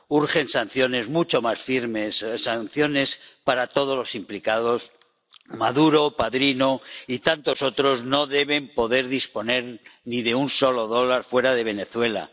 Urgen sanciones mucho más firmes, sanciones para todos los implicados, Maduro, Padrino y tantos otros no deben poder disponer ni de un solo dólar fuera de Venezuela.